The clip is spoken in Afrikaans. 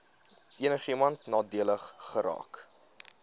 enigiemand nadelig geraak